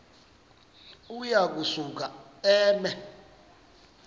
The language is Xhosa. uya kusuka eme